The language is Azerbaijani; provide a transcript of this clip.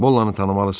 Bollanı tanımalısız.